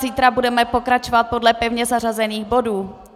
Zítra budeme pokračovat podle pevně zařazených bodů.